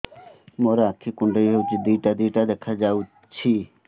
ମୋର ଆଖି କୁଣ୍ଡାଇ ହଉଛି ଦିଇଟା ଦିଇଟା ଦେଖା ଯାଉଛି